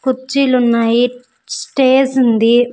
కుర్చీలు ఉన్నాయి స్టేజ్ ఉంది.